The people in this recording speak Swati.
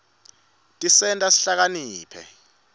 tisenta sihlakaniphe